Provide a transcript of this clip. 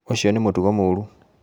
Ucio nĩ mũtugo mũru